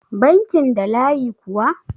bankin da layi kuwa?